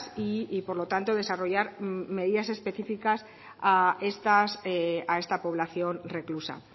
y por lo tanto desarrollar medidas específicas a esta población reclusa